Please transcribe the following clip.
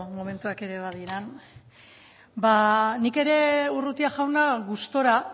momentuak ere badiren nik ere urrutia jauna gustura